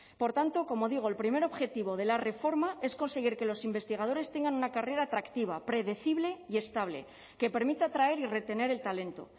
por tanto como digo el primer objetivo de la reforma es conseguir que los investigadores tengan una carrera atractiva predecible y estable que permita atraer y retener el talento